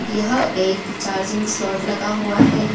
यह एक charging slot लगा हुआ है।